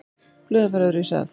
Blöðin fara öðruvísi að.